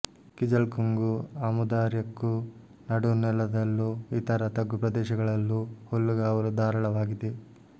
ಕಿಜಲ್ಕುಂಗೂ ಆಮೂದಾರ್ಯಾಕ್ಕೂ ನಡುನೆಲದಲ್ಲೂ ಇತರ ತಗ್ಗು ಪ್ರದೇಶಗಳಲ್ಲೂ ಹುಲ್ಲುಗಾವಲು ಧಾರಾಳವಾಗಿದೆ